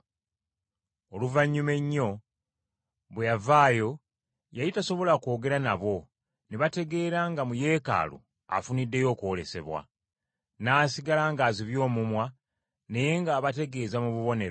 Oluvannyuma ennyo bwe yavaayo, yali tasobola kwogera nabo, ne bategeera nga mu Yeekaalu afuniddeyo okwolesebwa. N’asigala ng’azibye omumwa naye ng’abategeeza mu bubonero.